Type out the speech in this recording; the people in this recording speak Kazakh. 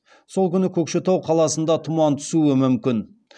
сол күні көкшетау қаласында тұман түсуі мүмкін